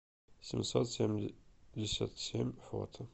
семьсот семьдесят семь фото